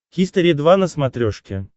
хистори два на смотрешке